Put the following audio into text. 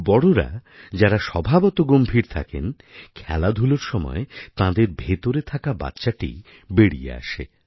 বড়রা যারা স্বভাবত গম্ভীর থাকেন খেলাধূলার সময় তাঁদের ভেতরে থাকা বাচ্চাটি বেড়িয়ে আসে